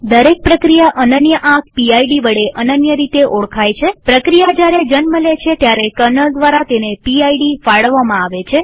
દરેક પ્રક્રિયા અનન્ય આંક પીડ વડે અનન્ય રીતે ઓળખાય છેપ્રક્રિયા જયારે જન્મ લે છે ત્યારે કર્નલ દ્વારા તેને પીડ ફાળવવામાં આવે છે